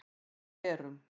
Já við erum